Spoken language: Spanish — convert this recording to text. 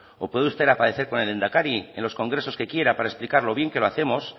o puede usted aparecer con el lehendakari en los congresos que quiera para explicar lo bien que lo hacemos